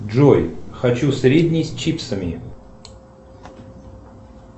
джой хочу средний с чипсами